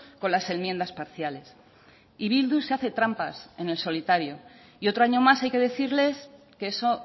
con las enmiendas parciales y bildu se hace trampas en el solitario y otro año más hay que decirles que eso